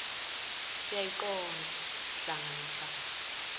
siyaqonda hlanga lomhlabathi